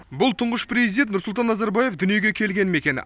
бұл тұңғыш президент нұрсұлтан назарбаев дүниеге келген мекен